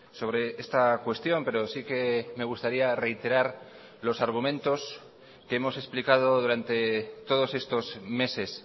sobre esta cuestión pero sí que me gustaría reiterar los argumentos que hemos explicado durante todos estos meses